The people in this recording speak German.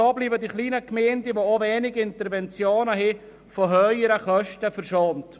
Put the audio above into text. So bleiben die kleinen Gemeinden, die auch wenige Interventionen verursachen, von höheren Kosten verschont.